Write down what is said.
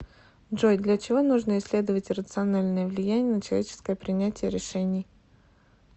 джой для чего нужно исследовать иррациональное влияние на человеческое принятие решений